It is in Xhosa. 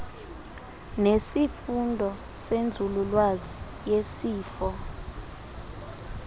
nesifundo senzululwazi yesifo